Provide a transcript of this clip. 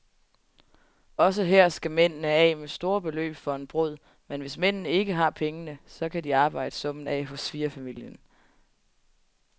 Også her skal mændene af med store beløb for en brud, men hvis mændene ikke har pengene, kan de arbejde summen af hos svigerfamilien.